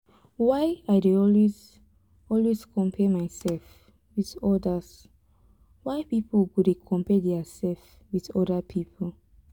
why i dey always always compare myself with odas why pipo go dey compare their sef with oda pipo?